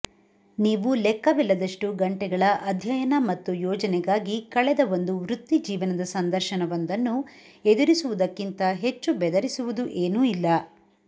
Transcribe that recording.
ನೀವು ಲೆಕ್ಕವಿಲ್ಲದಷ್ಟು ಗಂಟೆಗಳ ಅಧ್ಯಯನ ಮತ್ತು ಯೋಜನೆಗಾಗಿ ಕಳೆದ ಒಂದು ವೃತ್ತಿಜೀವನದ ಸಂದರ್ಶನವೊಂದನ್ನು ಎದುರಿಸುವುದಕ್ಕಿಂತ ಹೆಚ್ಚು ಬೆದರಿಸುವುದು ಏನೂ ಇಲ್ಲ